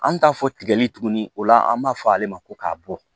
An bɛ taa fɔ tigɛli tuguni o la an b'a fɔ ale ma ko k'a bɔ